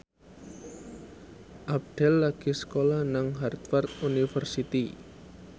Abdel lagi sekolah nang Harvard university